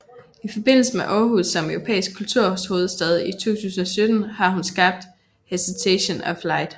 I forbindelse med Aarhus som Europæisk Kulturhovedstad 2017 har hun skabt Hesitation of Light